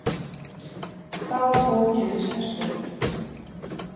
Þá ókyrrist hesturinn.